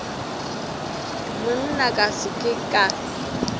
monna ka se ke ka